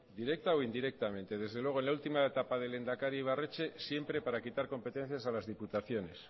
directa o indirectamente desde luego en la última etapa del lehendakari ibarretxe siempre para quitar competencias a las diputaciones